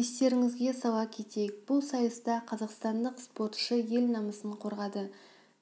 естеріңізге сала кетейік бұл сайыста қазақстандық спортшы ел намысын қорғады